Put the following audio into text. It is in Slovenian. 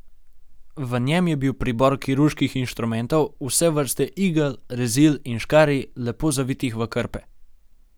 V njem je bil pribor kirurških inštrumentov, vse vrste igel, rezil in škarij, lepo zavitih v krpe.